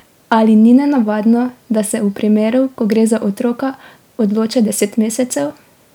Ali ni nenavadno, da se v primeru, ko gre za otroka, odloča deset mesecev?